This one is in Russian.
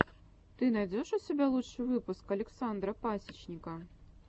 ты найдешь у себя лучший выпуск александра пасечника